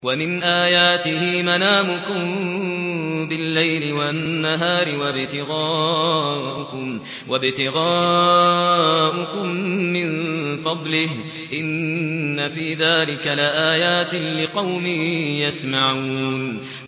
وَمِنْ آيَاتِهِ مَنَامُكُم بِاللَّيْلِ وَالنَّهَارِ وَابْتِغَاؤُكُم مِّن فَضْلِهِ ۚ إِنَّ فِي ذَٰلِكَ لَآيَاتٍ لِّقَوْمٍ يَسْمَعُونَ